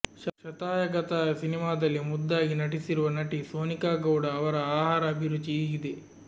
ಶತಾಯ ಗತಾಯ ಸಿನಿಮಾದಲ್ಲಿ ಮುದ್ದಾಗಿ ಅಭಿನಯಿಸಿರುವ ನಟಿ ಸೋನಿಕಾ ಗೌಡ ಅವರ ಆಹಾರ ಅಭಿರುಚಿ ಹೀಗಿದೆ